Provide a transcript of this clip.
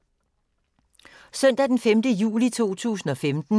Søndag d. 5. juli 2015